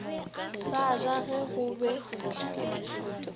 sa ja ge go be